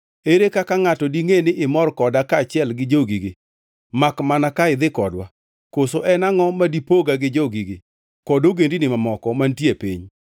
Ere kaka ngʼato dingʼe ni imor koda kaachiel gi jogigi makmana ka idhi kodwa? Koso en angʼo ma dipoga gi jogigi kod ogendini mamoko mantie e piny?”